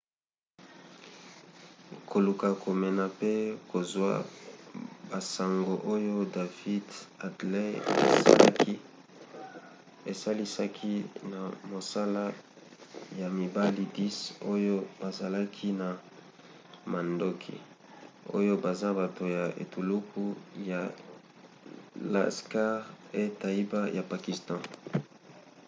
koluka komona pe kozwa basango oyo david headley asalaki esalisaki na mosala ya mibali 10 oyo bazalaki na mandoki oyo baza bato ya etuluku ya laskhar-e-taiba ya pakistan